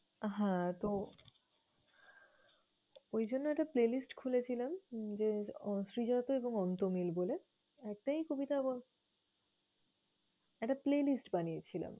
আহ হ্যাঁ! তো ওইজন্য একটা playlist খুলেছিলাম উম যে আহ শ্রীজাত এবং অন্ত্যমিল বলে, একটাই কবিতা ব~ একটা playlist বানিয়েছিলাম।